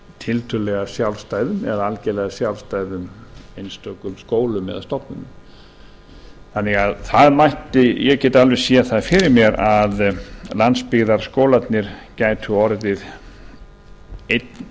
tiltölulega sjálfstæðum eða algjörlega sjálfstæðum einstökum skólum eða stofnunum þannig að það ég gæti alveg séð það fyrir mér að landsbyggðarskólarnir gætu orðið einn